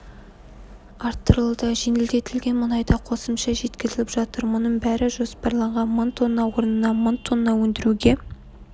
арттырылды жеңілдетілген мұнайда қосымша жеткізіліп жатыр мұның бәрі жоспарланған мың тонна орнына мың тонна өндіруге